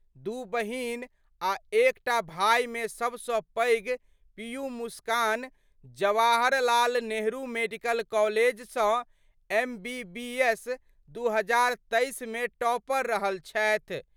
दू बहिन आ एकटा भाई मे सबस पैघ पीयू मुस्कान जवाहर लाल नेहरू मेडिकल कॉलेज स एमबीबीएस 2023 मे टॉपर रहल छथि।